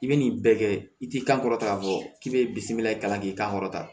I bɛ nin bɛɛ kɛ i ti kan kɔrɔta fɔ k'i bɛ bisimila i kan k'i kankɔrɔta